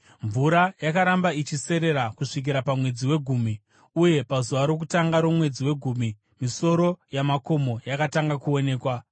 Mvura yakaramba ichiserera kusvikira pamwedzi wegumi, uye pazuva rokutanga romwedzi wegumi misoro yamakomo yakatanga kuonekwa.